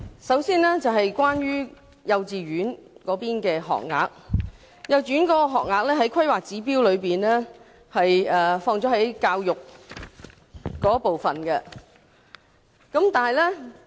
首先，關於幼稚園的學額，幼稚園學額在《香港規劃標準與準則》中屬於教育部分。